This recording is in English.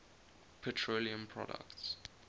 petroleum products